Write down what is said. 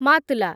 ମାତ୍‌ଲା